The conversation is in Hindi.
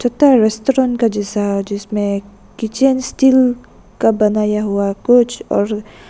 रेस्टोरेंट का जैसा जिसमें किचेन स्टील का बनाया हुआ कुछ और--